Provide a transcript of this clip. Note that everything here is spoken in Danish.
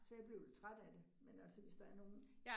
Så jeg blev lidt træt af det, men altså hvis der er nogen